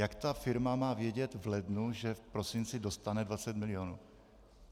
Jak ta firma má vědět v lednu, že v prosinci dostane 20 mil.?